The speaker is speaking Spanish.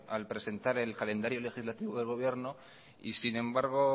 al presentar el calendario legislativo de gobierno y sin embargo